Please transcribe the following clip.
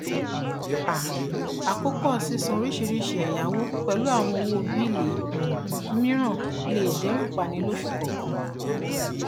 um àkópọ sísan oríṣiríṣi ẹyáwó pẹlú àwọn owó bíìlì um mìíràn lè dẹrù pani lóṣù kọọkan